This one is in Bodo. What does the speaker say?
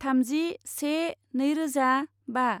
थामजि से नैरोजा बा